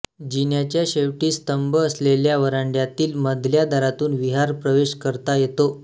जिन्याच्या शेवटी स्तंभ असलेल्या व्हरांड्यातील मधल्या दारातून विहार प्रवेश करता येतो